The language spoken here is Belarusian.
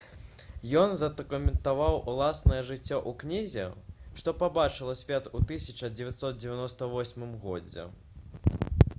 ён задакументаваў уласнае жыццё ў кнізе што пабачыла свет у 1998 годзе